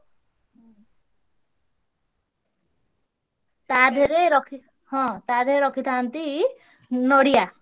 ତା ଧିଅରେ ରଖି ହଁ ତା ଧିଅରେ ରଖିଥାନ୍ତି ନଡିଆ।